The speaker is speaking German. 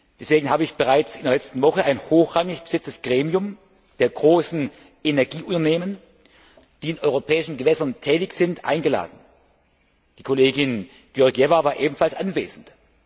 Deswegen habe ich bereits in der letzten Woche ein hochrangig besetztes Gremium der großen Energieunternehmen, die in europäischen Gewässern tätig sind, eingeladen. Die Kollegin Georgieva war ebenfalls anwesend.